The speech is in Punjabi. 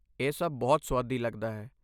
ਇਹ ਸਭ ਬਹੁਤ ਸੁਆਦੀ ਲੱਗਦਾ ਹੈ।